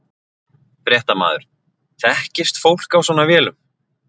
Fréttamaður: Þekkist fólk á svona vélum?